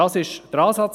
Dies war der Ansatz.